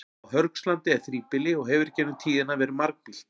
Á Hörgslandi er þríbýli og hefur í gegnum tíðina verið margbýlt.